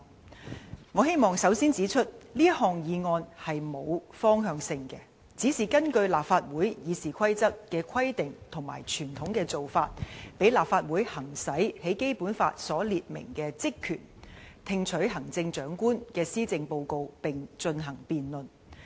首先我希望指出，這項議案沒有方向性，只是根㯫立法會《議事規則》的規定和傳統的做法，讓立法會行使在《基本法》所列明的職權："聽取行政長官的施政報告並進行辯論"。